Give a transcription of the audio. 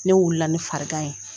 Ne wulila ne farigan ye